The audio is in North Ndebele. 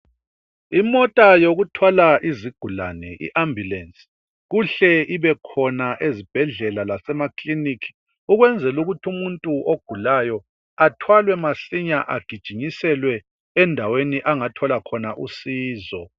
Imota yokuthwala izigulane i Ambulace kuhle ibe khona ezibhedlela lasema clinic ukwenzela ukuthi umuntu ogulayo athwalwe masinya agijinyiselwe endaweni angathola khona usizo.